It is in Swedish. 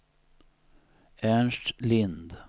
Ernst Lind